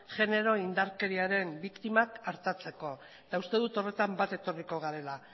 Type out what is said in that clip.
genero indarkeriaren biktiman artatzeko eta uste dut horretan bat etorriko garela